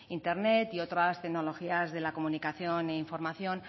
internet y otras tecnologías de la comunicación e información